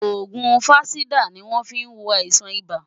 Òògùn Fansidar ni wọ́n fí ń wo àìsàn ibà.